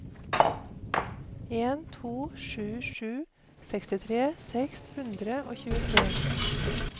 en to sju sju sekstitre seks hundre og tjuetre